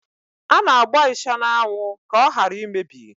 A na-agba ịsha n'anwụ ka ọ hara imebi.